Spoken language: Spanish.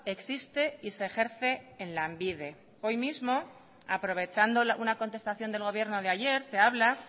existe y se ejerce en lanbide hoy mismo aprovechando una contestación del gobierno de ayer se habla